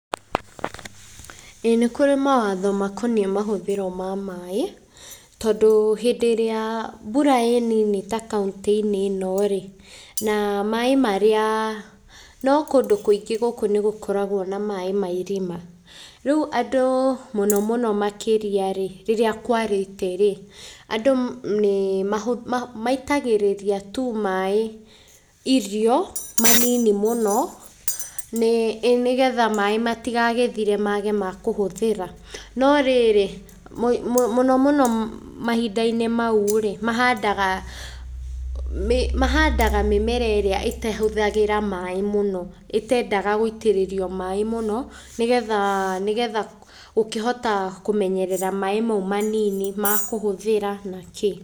Ĩĩ nĩ kũrĩ mawatho makoniĩ mahũthĩro ma maĩ, tondũ hĩndĩ ĩrĩa mbura ĩ nini ta kauntĩ-inĩ ĩno rĩ, na maĩ marĩa, no kũndũ kũingĩ gũkũ nĩ gũkoragwo na maĩ ma irima. Rĩu andũ mũno mũno makĩria rĩ, rĩrĩa kwarĩte rĩ, andũ nĩ maitagĩrĩria tu maĩ irio manini mũno ĩ nĩgetha maĩ matigagĩthire mage ma kũhũthĩra. No rĩrĩ, mũno mũno mahinda-inĩ mau rĩ, mahandaga mĩmera ĩrĩa ĩtahũthĩraga maĩ mũno, ĩtendaga gũitĩrĩrio maĩ mũno nĩgetha gũkĩhota kũmenyerera maĩ mau manini ma kũhũthĩra na kĩĩ.